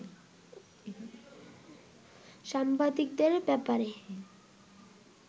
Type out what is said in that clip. সাংবাদিকদের ব্যাপারে